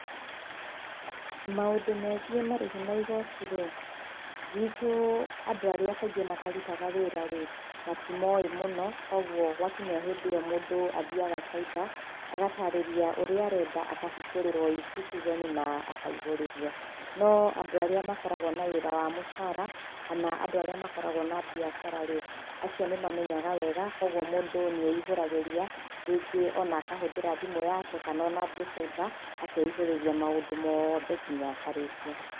Maũndũ megiĩ marĩhi ma igooti rĩ, gwitũ andũ arĩa kaingĩ matarutaga wĩra rĩ matimoe mũno kwoguo gwakinya hĩndĩ ĩyo mũndũ athiaga cyber agatarĩria ũrĩa arenda akahingũrĩrwo eCitizen na akaihũrĩrio no andũ arĩa makoragwo na wĩra wa mũcara kana andũ arĩa makoragwo na biacara rĩ acio nĩ mamenyaga wega kwoguo mũndũ nĩeihũragĩria rĩngĩ ona akahũthĩra thimũ yake kana onathiĩ cyber akeihũtĩria maũndũ moothe nginya akarĩkia.